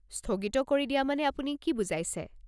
স্থগিত কৰি দিয়া মানে আপুনি কি বুজাইছে?